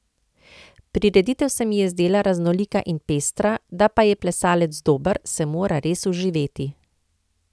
Prireditev se mi je zdela raznolika in pestra, da pa je plesalec dober, se mora res vživeti.